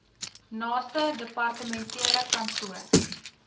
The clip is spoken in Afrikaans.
naaste departementele kantoor